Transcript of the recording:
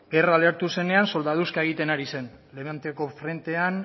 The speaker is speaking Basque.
gerra lehertu zenean soldaduzka egiten ari zen levanteko frentean